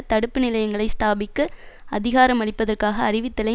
தடுப்பு நிலையங்களை ஸ்தாபிக்க அதிகாரமளிப்பதற்காக அறிவித்தலை